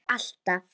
Já alltaf.